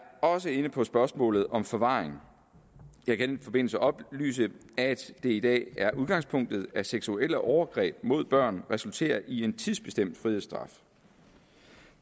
også inde på spørgsmålet om forvaring jeg kan i den forbindelse oplyse at det i dag er udgangspunktet at seksuelle overgreb mod børn resulterer i en tidsbestemt frihedsstraf